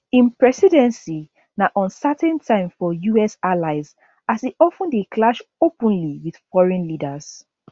im presidency na uncertain time for us allies as e of ten dey clash openly wit foreign leaders